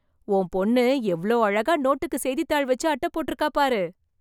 உன் பொண்ணு எவ்ளோ அழகா நோட்டுக்கு செய்தித்தாள் வெச்சு அட்டை போட்ருக்கா பாரு...